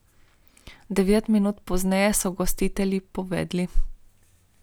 Devet minut pozneje so gostitelji povedli.